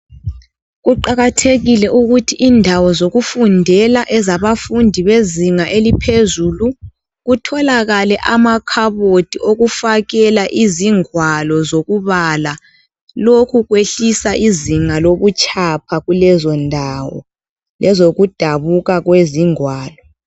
Kuqakathekile ukuthi indawo zokufundela ezabafundi bezinga eliphezulu kutholakale amakhabothi okufakela izingwalo zokubala, lokhu kwehlisa izinga lobutshapha kulezo ndawo lezoku dabuka kwengwalo.